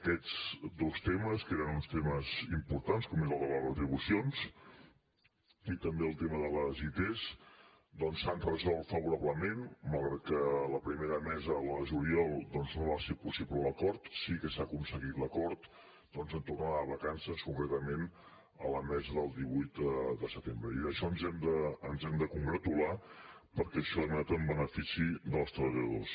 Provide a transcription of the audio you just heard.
aquests dos temes que eren uns temes importants com és el de les retribucions i també el tema de les its doncs s’han resolt favorablement malgrat que la primera mesa la de juliol no va ser possible l’acord sí que s’ha aconseguit l’acord en tornar de vacances concretament a la mesa del divuit de setembre i d’això ens hem de congratular perquè això ha anat en benefici dels treballadors